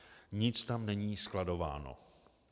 Nic tam není skladováno.